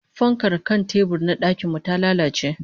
Fankar kan tebur na dakin mu ta lalace